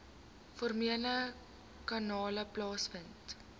formele kanale plaasvind